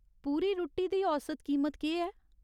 पूरी रुट्टी दी औसत कीमत केह् ऐ ?